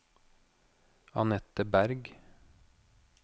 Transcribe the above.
Annette Bergh